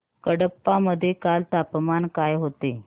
कडप्पा मध्ये काल तापमान काय होते